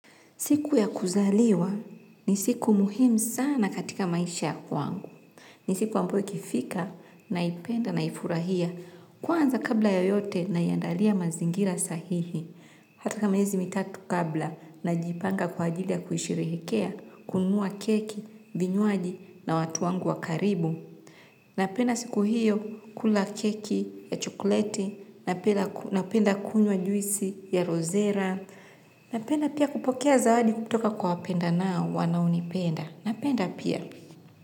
Siku ya kuzaliwa ni siku muhimu sana katika maisha ya kwangu. Ni siku ambayo ikifika naipenda naifurahia. Kwanza kabla ya yote naiandalia mazingira sahihi. Hatika miezi mitatu kabla najipanga kwa ajili ya kuisherehekea kununua keki, vinywaji na watu wangu wa karibu. Napenda siku hiyo kula keki ya chokoleti, napenda kunya juisi ya rozera. Napenda pia kupokea zawadi kutoka kwa wapendanao wanaonipenda. Napenda pia.